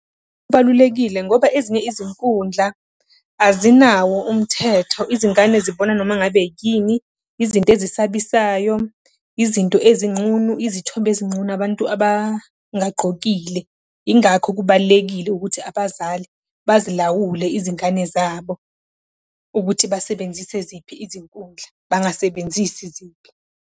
Kubalulekile ngoba ezinye izinkundla azinawo umthetho izingane zibona noma ngabe yini, izinto ezisabisayo. Izinto ezinqunu, izithombe ezinqunu, abantu abangagqokile. Yingakho kubalulekile ukuthi abazali bazilawule izingane zabo ukuthi basebenzise ziphi izinkundla, bangasebenzisi ziphi.